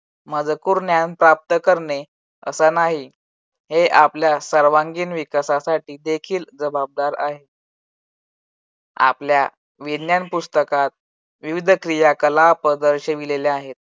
मजकूर ज्ञान प्राप्त करणे असं नाही. हे आपल्या सर्वांगीण विकासासाठी देखील जबाबदार आहे. आपल्या विज्ञान पुस्तकात विविध क्रिया कलापद दर्शविलेले आहेत.